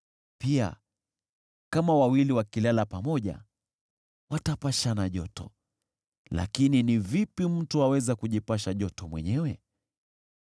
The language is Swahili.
Pia, kama wawili wakilala pamoja watapashana joto. Lakini ni vipi mtu aweza kujipasha joto mwenyewe?